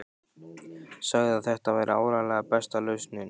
Sagði að þetta væri áreiðanlega besta lausnin.